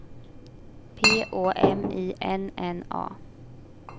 P Å M I N N A